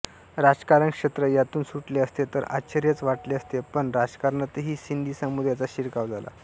राजकारण क्षेत्र यातून सुटले असते तर आश्चर्यच वाटले असते पण राजकारणातही सिंधी समुदायाचा शिरकाव झाला